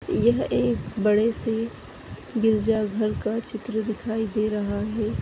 यह एक बड़े से गिरजाघर का चित्र दिखाई दे रहा है।